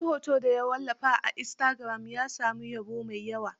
Wani hoto da ya wallafa a istagiram, ya samu yabo mai yawa.